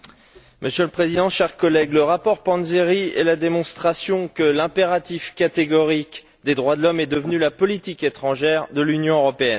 Monsieur le Président, chers collègues, le rapport Panzeri est la démonstration que l'impératif catégorique des droits de l'homme est devenu la politique étrangère de l'Union européenne.